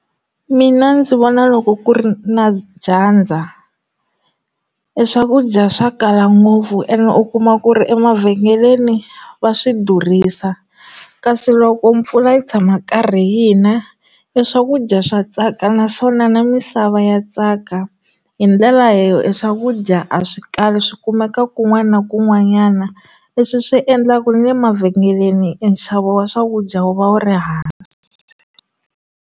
Mina ndzi vona loko ku ri na dyandza eswakudya swa kala ngopfu ene u kuma ku ri emavhengeleni va swi durhisa kasi loko mpfula yi tshama karhi yina i swa ku ku dya swa tsaka naswona na misava ya tsaka hi ndlela leyo eswakudya a swi kahle swi kumeka kun'wana na kun'wanyana leswi swi endlaka na le mavhengeleni enxavo wa swakudya wu va wu ri hansi.